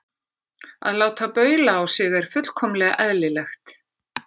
Að láta baula á sig er fullkomlega eðlilegt.